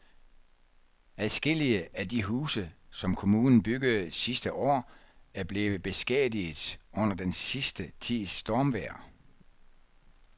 Adskillige af de huse, som kommunen byggede sidste år, er blevet beskadiget under den sidste tids stormvejr.